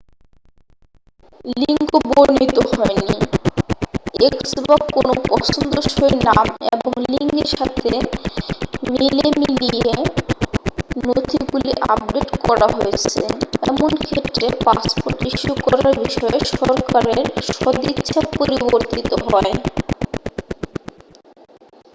লিঙ্গ বর্ণিত হয়নি x বা কোনও পছন্দসই নাম এবং লিঙ্গের সাথে মেলেমিলিয়ে নথিগুলি আপডেট কড়া হয়েছে এমন ক্ষেত্রে পাসপোর্ট ইস্যু করার বিষয়ে সরকারের সদিচ্ছা পরিবর্তিত হয়।